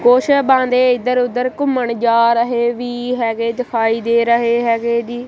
ਕੁਛ ਬੰਦੇ ਇਧਰ ਉਧਰ ਘੁੰਮਣ ਜਾ ਰਹੇ ਵੀ ਹੈਗੇ ਦਿਖਾਈ ਦੇ ਰਹੇ ਹੈਗੇ ਜੀ।